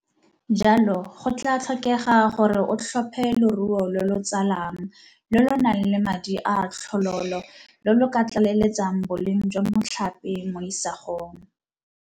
Jalo go tlaa tlhokega gore o tlhophe loruo lo lo tsalang lo lo nang le madi a a tlhololo lo lo ka tlaleletsang boleng jwa motlhape mo isagong.